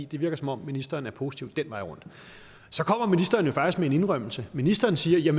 det virker som om ministeren er positiv den vej rundt så kommer ministeren jo faktisk med en indrømmelse ministeren siger